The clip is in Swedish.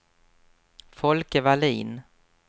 Folke Wallin